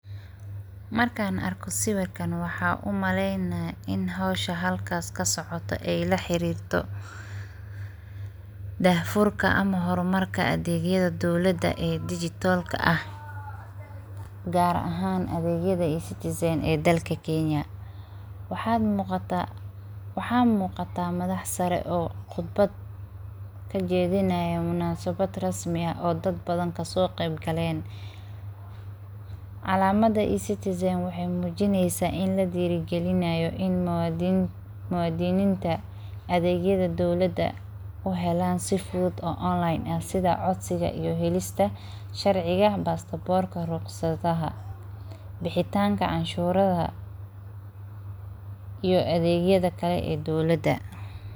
Markan arko sawirkan waxaa u maleynaya ini howsha halkas kasocota ay laxirirto dahfurka ama hormarka adegyada dowlada ee digitalka ah gar ahan adegyada E citizen ee dalka Kenya waxaa muqataa madax sare oo khudbad kajedinayan munasabad rasmi ah oo dad badan kaso qeyb galen calamada E citizen waxay mujineysa in ladiragalinayo in muwadininta adegyada dowlada u helan si fudud o online ah sidha codsiga iyo helista sharciga passportka ruqsadaha , bixitanka canshuraha iyo adegyada kale ee dowlada.